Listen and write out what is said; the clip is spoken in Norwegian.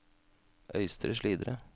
Øystre Slidre